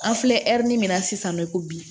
An filɛ ɛri min na sisan nɔ ko bi